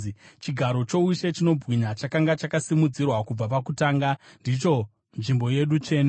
Chigaro choushe chinobwinya, chakanga chakasimudzirwa kubva pakutanga, ndicho nzvimbo yedu tsvene.